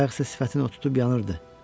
Bayaq isə sifətinə otutub yanırdı.